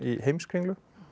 Heimskringlu